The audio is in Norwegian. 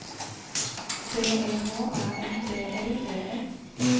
B E H A N D L E S